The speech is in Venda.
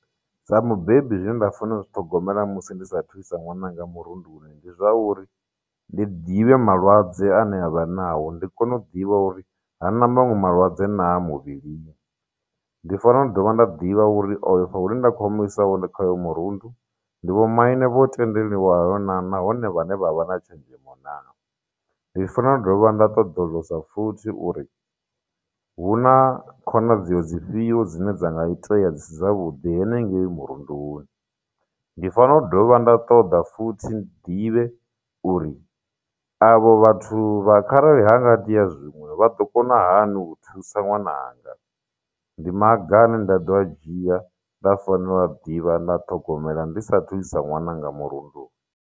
Sa mubebi zwine nda fanela uzwi ṱhogomela musi ndi sa thu isa ṅwananga murunduni ndi zwa uri ndi ḓivhe malwadze ane avha nao ndi kone u ḓivha uri hana maṅwe malwadze naa muvhilini ndi fanela u dovha nda ḓivha uri afho hune nda kho mu isa hone kha uyo murundu ndi vho maine vho tendeliwa naa nahone vhane vha vha na tshenzhemo na ndi fanelo dovha nda ṱoḓulusa futhi uri hu na khonadzeo dzifhio dzine dzanga itea dzi si dzavhuḓi henengeyi murunduni ndi fanela u dovha nda ṱoḓa futhi ndi ḓivhe uri avho vhathu kharali hanga itea zwiṅwe vha ḓo kona hani u thusa ṅwana ndi maga ane nda ḓo a dzhia nda fanela u a ḓivha nda ṱhogomela ndi sa thu isa ṅwananga murunduni.